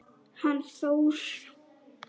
Hann Þór?